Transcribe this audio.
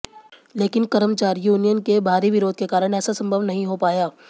लेकिन कर्मचारी यूनियन के भारी विरोध के कारण ऐसा संभव नहीं हो पाया